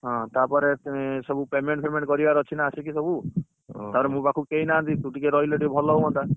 ହଁ ତାପରେ ସବୁ payment fayment କରିବାର ଅଛି ନାଆସିକି ସବୁ ତାପରେ ମୋ ପାଖକୁ କେଇନାହାନ୍ତି ତୁ ଟିକେ ରହିଲେ ଟିକେ ଭଲ ହୁଅନ୍ତା